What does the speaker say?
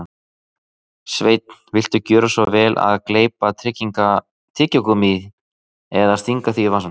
Sveinn, viltu gjöra svo vel að gleypa tyggigúmmíið eða stinga því í vasann